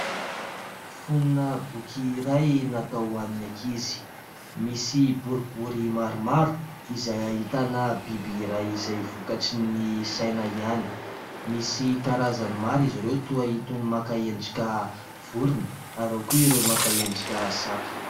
Fonona boky iray natao ho an'ny ankizy. Misy boribory maromaro izay ahitana biby iray izay vokatrin'ny saina ihany. Misy karazany maro izy ireo toy itony maka endrika vorona ary ao koa ireo maka endrika saka.